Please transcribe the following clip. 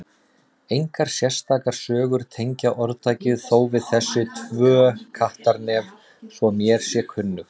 Engar sérstakar sögur tengja orðtakið þó við þessi tvö Kattarnef svo mér sé kunnugt.